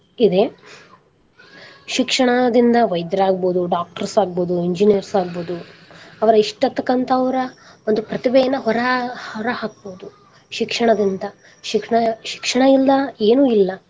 ಇದೆ ಶಿಕ್ಷಣದಿಂದ ವೈದ್ಯರಾಗಬಹುದು doctors ಆಗ್ಬಹುದು engineers ಆಗ್ಬಹುದು ಅವ್ರ ಇಷ್ಟ ತಕ್ಕಂತ ಅವ್ರ ಒಂದು ಪ್ರತಿಭೆಯನ್ನ ಹೊರ ಹಾ~ ಹೊರಹಾಕಬಹುದು ಶಿಕ್ಷಣದಿಂದ ಶಿಕ್ಷಣ ಶಿಕ್ಷಣ ಇಲ್ಲದ ಏನು ಇಲ್ಲಾ.